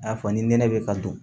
A fɔ ni nɛnɛ bɛ ka dun